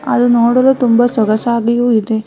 ಅದು ನೋಡಲು ತುಂಬ ಸೊಗಸಾಗಿಯೂ ಇದೆ.